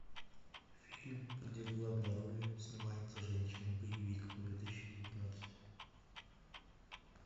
фильм где в главной роли снимается женщина боевик две тысячи девятнадцать